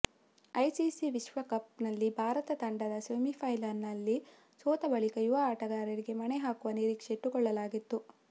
ICC ವಿಶ್ವಕಪ್ ನಲ್ಲಿ ಭಾರತ ತಂಡದ ಸೆಮಿಫೈನಲ್ಸ್ ನಲ್ಲಿ ಸೋತ ಬಳಿಕ ಯುವ ಆಟಗಾರರಿಗೆ ಮಣೆ ಹಾಕುವ ನಿರೀಕ್ಷೆ ಇಟ್ಟುಕೊಳ್ಳಲಾಗಿತ್ತು